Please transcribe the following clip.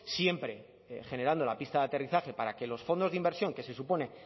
siempre generando la pista de aterrizaje para que los fondos de inversión que se supone